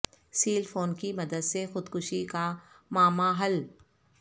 cell phone کی مدد سے خود کشی کا معمہ حل